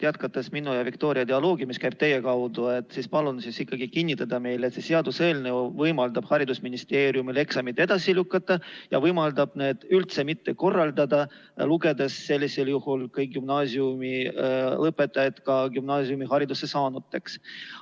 Jätkates minu ja Viktoria dialoogi, mis käib teie kaudu, palun teil ikkagi kinnitada meile, et see seaduseelnõu võimaldab haridusministeeriumil eksameid edasi lükata ja võimaldab neid üldse mitte korraldada, lugedes sellisel juhul kõik gümnaasiumilõpetajad ka gümnaasiumihariduse saanuks.